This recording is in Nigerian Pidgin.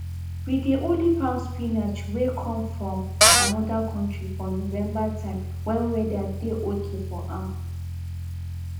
we dey only farm spinach wey come from another country for november time when weather dey okay for am